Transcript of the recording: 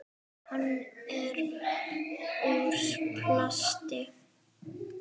Hann er úr plasti.